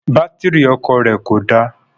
Bátírì ọkọ̀ rẹ̀ kò dá